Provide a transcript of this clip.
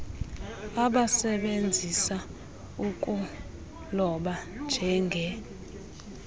abasebenzisa ukuloba njenge